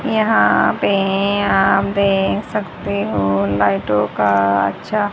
यहां पे आप देख सकते हो लाइटों का अच्छा--